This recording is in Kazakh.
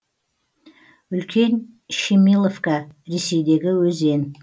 үлкен щемиловка ресейдегі өзен